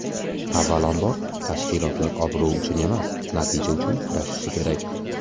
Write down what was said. Avvalambor, tashkilotlar obro‘ uchun emas, natija uchun kurashishi kerak.